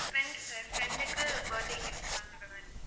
friend sir, friend உக்கு birthday gift பண்ற மாதிரி